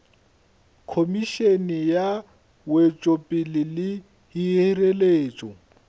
khomišene ya wetšopele le hireletšo